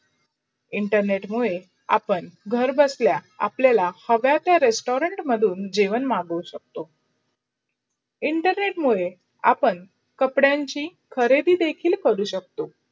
internet मुडे आपण घर बसलाय आपलायला हव्या ते रेस्टोरेंत मध्ये जेवण मागू शकतो. internet मुडे आपण कापडणची खरेदील देखील करू शकतो.